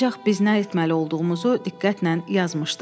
Ancaq biz nə etməli olduğumuzu diqqətlə yazmışdıq.